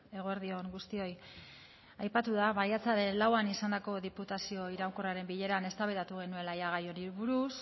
eguerdi on guztioi aipatu da maiatzaren lauan izandako diputazio iraunkorraren bileran eztabaidatu genuela gai honi buruz